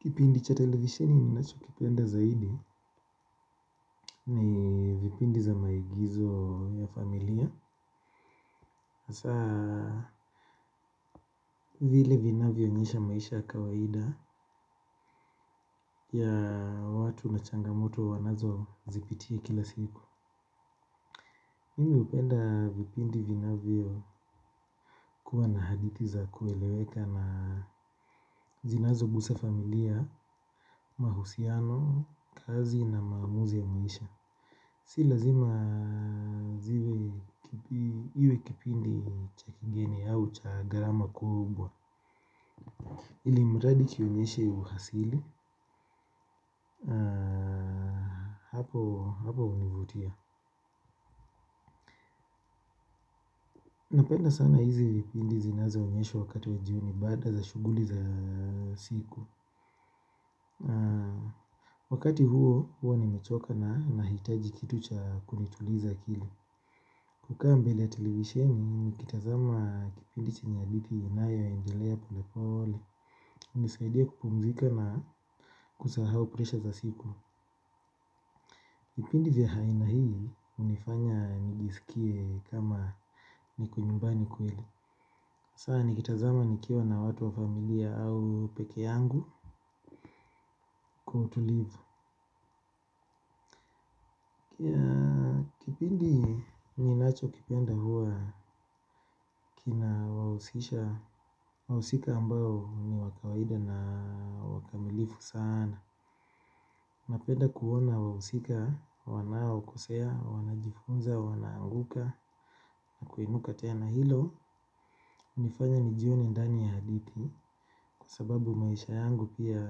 Kipindi cha televisheni ninacho kipenda zaidi ni vipindi za maigizo ya familia. Hasa vile vinavyoonyesha maisha ya kawaida ya watu na changamoto wanazo zipitia kila siku. Mimi hupenda vipindi vinavyo kuwa na hadithi za kueleweka na zinazo gusa familia, mahusiano, kazi na maamuzi ya muisha. Si lazima ziwe iwe kipindi cha kigeni au cha gharama kubwa. Ilimradi kionyeshe uhasili hapo univutia. Napenda sana hizi vipindi zinazo onyeshwa wakati wa jioni baada za shughuli za siku. Wakati huo huwa nimechoka na nahitaji kitu cha kunituliza kili. Kukaa mbele ya televisheni nikitazama kipindi chenye hadithi inayo endelea polepole. Unisaidia kupumzika na kusahau presha za siku vipindi vya haina hii unifanya nijisikie kama niko nyumbani kweli hasa nikitazama nikiwa na watu wa familia au peke yangu kwa utulivu kipindi ninacho kipenda huwa kina wausisha. Wausika ambao ni wa kawaida na wakamilifu sana. Napenda kuona wahusika, wanao kosea, wanajifunza, wanaanguka na kuinuka tena hilo. Unifanya nijione ndani ya hadithi kwa sababu maisha yangu pia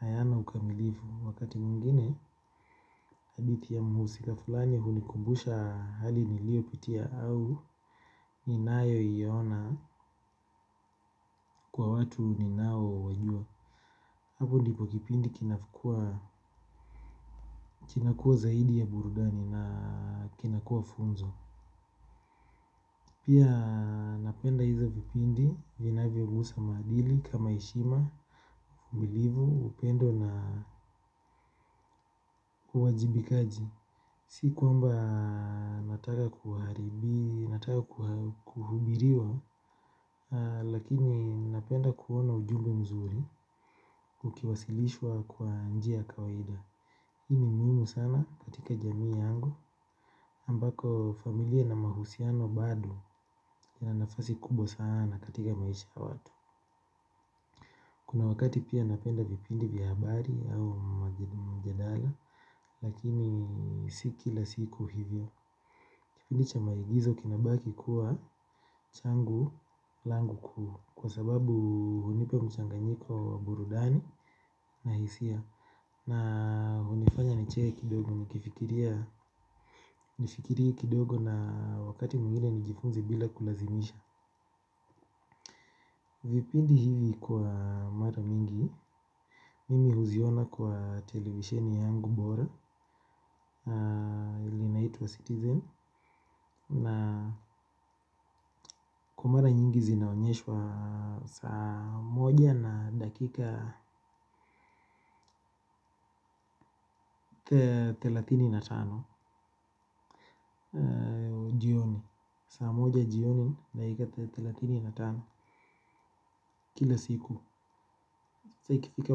ayana ukamilifu. Wakati mwingine hadithi ya muhusika fulani hunikumbusha hali nilio pitia au ninayoiona kwa watu ninao wajua. Hapo ndipo kipindi kinakuwa kinakuwa zaidi ya burudani na kinakuwa funzo. Pia napenda hizo vipindi, vinavyo gusa maadili, kama heshima, umilivu, upendo na uwajibikaji. Si kwamba nataka kuharibi, nataka kuhubiriwa, lakini napenda kuona ujumbe mzuri, kukiwasilishwa kwa njia ya kawaida. Ini muimu sana katika jamii yangu, ambako familia na mahusiano bado na nafasi kubwa sana katika maisha ya watu. Kuna wakati pia napenda vipindi vya habari au mjadala. Lakini si kila siku hivyo. Kipindi cha maigizo kinabaki kuwa changu langu kuwa kwa sababu hunipa mchanganyiko wa burudani na hisia. Na hunifanya niche kidogo nikifiria kidogo na wakati mwingine nijifunze bila kulazimisha. Vipindi hivi kwa mara mingi. Mimi huziona kwa televisheni yangu bora ili naituwa citizen na kwa mara nyingi zinaonyeshwa saa moja na dakika thelathini na tano jioni saa moja jioni na dakika thelathini na tano kila siku saa ikifika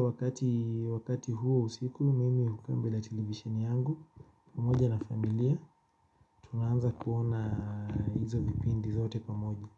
wakati huo usiku mimi hukaa mbele televisheni yangu pamoja na familia tunanza kuona izo vipindi zote kwa moja.